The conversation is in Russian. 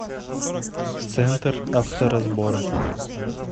центр авторазбора